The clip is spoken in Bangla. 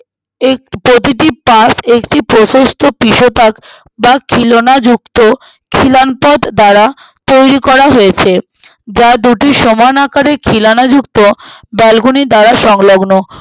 এর প্রতিটি পাশ একটি প্রসস্থ পিশপাস্ট যা খিলানযুক্ত খিলানপথ দ্বারা তৈরী করা হয়েছে যা দুটি সমান আকারে খিলানাযুক্ত আহ balcony দ্বারা সংলগ্ন